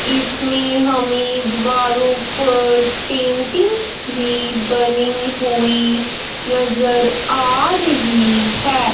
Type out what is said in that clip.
इसमें हमें वारूप पेंटिंग्स भी बनी हुई नजर आ रही है।